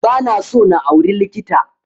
Ba na so na auri likita